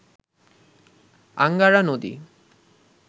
Angara নদী